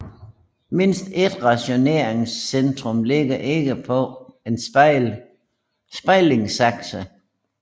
Mindst ét rotationscentrum ligger ikke på en spejlingsakse